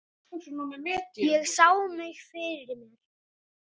Ég sá mig fyrir mér.